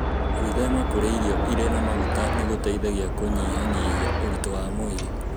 Gwĩthema kũrĩa irio irĩ na maguta nĩ gũteithagia kũnyihanyihia ũritũ wa mwĩrĩ.